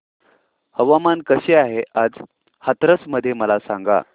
हवामान कसे आहे आज हाथरस मध्ये मला सांगा